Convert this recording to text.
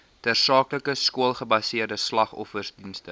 tersaaklike skoolgebaseerde slagofferdienste